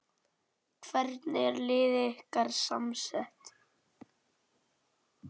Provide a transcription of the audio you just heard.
Hvernig er liðið ykkar samsett?